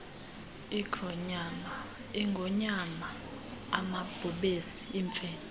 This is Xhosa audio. iingonyama amabhubesi iimfene